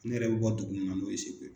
Ne yɛrɛ bɛ bɔ dugu min na n'o ye segu